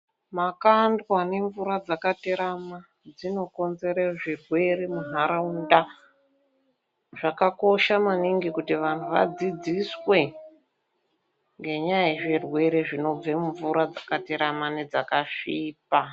Makandwa nemvura dzakaterama dzinokonzere zvirwere mundaraunda. Zvakakosha maningi kuti vantu vadzidziswe ngenyaya yezvirwere zvinobva mumvura dzaakaterama nedzakasvipa.